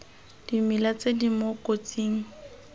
dimela tse di mo kotsing